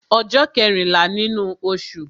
Ọjọ́ kẹ́rìnlá nínú osù